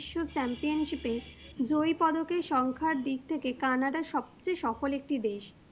বিশ্ব Championship জয় পদকের সংখ্যার দিক থেকে CANADA সবচেয়ে সফল একটু দেশ।